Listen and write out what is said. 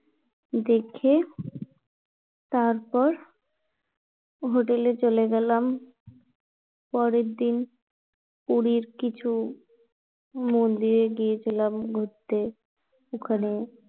দেখে তারপর Hotel এ চলে গেলাম পরের দিন পুরীর কিছু মন্দিরে গিয়েছিলাম ঘুরতে ওখানে